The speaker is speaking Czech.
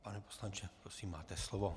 Pane poslanče prosím máte slovo.